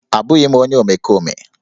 Abụghị m onye omekome